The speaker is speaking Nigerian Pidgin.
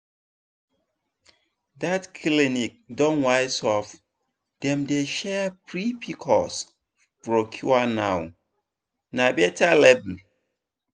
that clinic don wise up dem dey share free pcos brochure now. na better level.